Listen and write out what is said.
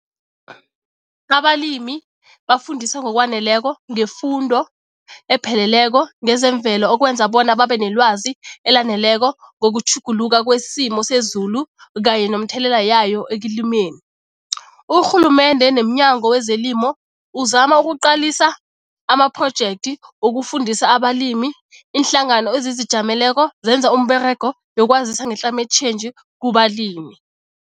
Abalimi bafundiswa ngokwaneleko ngefundo epheleleko ngezemvelo okwenza bona babe nelwazi elaneleko ngokutjhuguluka kwesimo sezulu kanye nomthelela yayo ekulimeni. Urhulumende nemNyango wezeLimo uzama ukuqalisa amaprojekthi wokufundisa abalimi, iinhlangano ezizijameleko zenza umberego yokwazisa nge-climate change kubalimi.